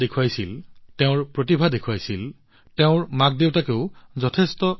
কন্যা অন্বী যিদৰে শিকাৰ ইচ্ছা দেখুৱাইছিল তাইৰ প্ৰতিভা দেখুৱাইছিল তাইৰ মাকদেউতাকেও যথেষ্ট উৎসাহ পাইছিল